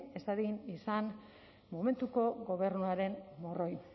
ez dadin izan momentuko gobernuaren morroi